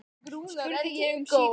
spurði ég um síðir.